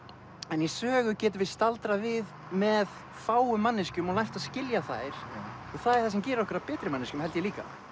en í sögu getum við staldrað við með fáum manneskjum og lært að skilja þær og það gerir okkur að betri manneskjum held ég líka